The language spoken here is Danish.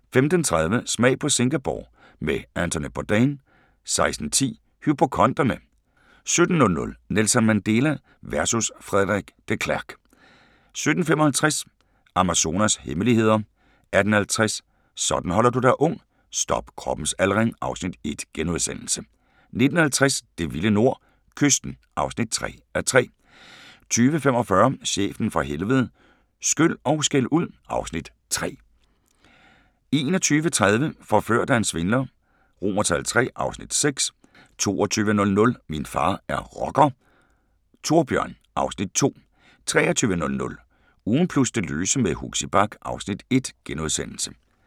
15:30: Smag på Singapore med Anthony Bourdain 16:10: Hypokonderne 17:00: Nelson Mandela versus Frederik de Klerk 17:55: Amazonas' hemmeligheder 18:50: Sådan holder du dig ung: Stop kroppens aldring (Afs. 1)* 19:50: Det vilde nord – Kysten (3:3) 20:45: Chefen fra Helvede – Skyld & Skældud (Afs. 3) 21:30: Forført af en svindler III (Afs. 6) 22:00: Min far er rocker - Thorbjørn (Afs. 2) 23:00: Ugen plus det løse med Huxi Bach (Afs. 1)*